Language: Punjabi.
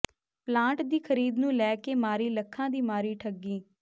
ਪਲਾਟ ਦੀ ਖਰੀਦ ਨੂੰ ਲੈ ਕੇ ਮਾਰੀ ਲੱਖਾਂ ਦੀ ਮਾਰੀ ਠੱਗੀ